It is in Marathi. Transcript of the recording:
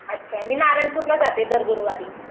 अच्छा मी नारायणपूरला जाते दर गुरुवारला